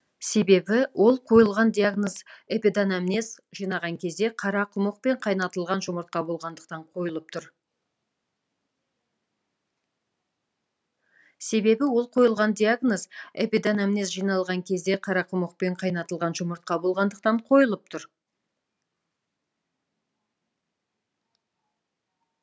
себебі ол қойылған диагноз эпиданамнез жинаған кезде қарақұмық пен қайнатылған жұмыртқа болғандықтан қойылып тұр